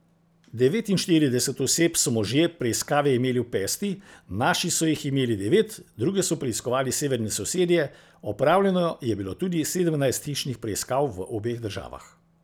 Devetinštirideset oseb so možje preiskave imeli v pesti, naši so jih imeli devet, druge so preiskovali severni sosedje, opravljeno je bilo tudi sedemnajst hišnih preiskav v obeh državah.